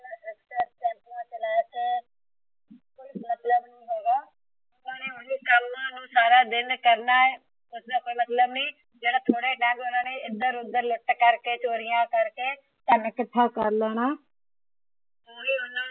ਕਮ ਨੂੰ ਸਾਰਾ ਦਿਨ ਕਰਨਾ ਆ ਉਸਦਾ ਕੋਈ ਮਤਲਬ ਨੀ ਜੇੜਾ ਥੋੜੇ ਏਧਰ ਓਧਰ ਲੁੱਟ ਕਰਕੇ ਚੋਰੀਆਂ ਕਰਕੇ ਧੰਨ ਇਕੱਠਾ ਕਰ ਲੈਣਾ ਹੈ।